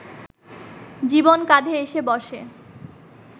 জীবন কাঁধে এসে বসে